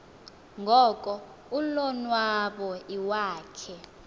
ngoko ulonwabo iwakhe